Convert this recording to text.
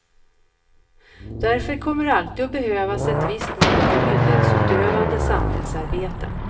Därför kommer det alltid att behövas ett visst mått av myndighetsutövande samhällsarbeten.